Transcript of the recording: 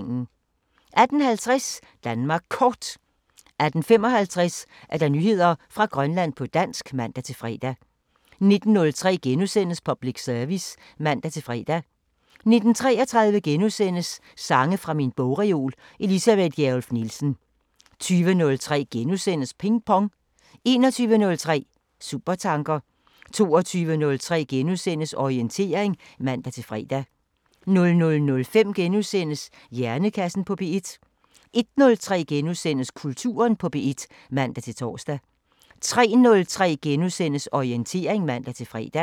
18:50: Danmark Kort 18:55: Nyheder fra Grønland på dansk (man-fre) 19:03: Public Service *(man-fre) 19:33: Sange fra min bogreol – Elisabeth Gjerluff Nielsen * 20:03: Ping Pong * 21:03: Supertanker 22:03: Orientering *(man-fre) 00:05: Hjernekassen på P1 * 01:03: Kulturen på P1 *(man-tor) 03:03: Orientering *(man-fre)